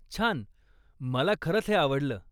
छान! मला खरंच हे आवडलं.